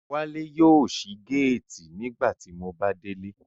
Wale yóò sí gáàtì nígbà tí Mo bá délé